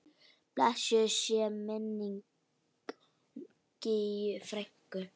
Blessuð sé minning Gígju frænku.